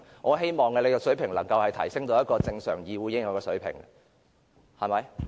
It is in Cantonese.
我希望局長的水平能夠達到一個正常議會應有的水平。